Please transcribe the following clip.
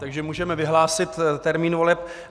Takže můžeme vyhlásit termín voleb.